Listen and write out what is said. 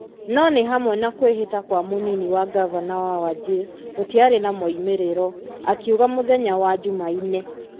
na nĩ hamwe na kwĩhĩta kwa mũnini wa ngavana wa Wajir, gũtiarĩ na moimĩrĩro. Akiuga mũthenya wa jumaine.